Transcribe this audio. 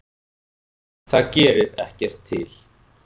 Það gerir ekkert til.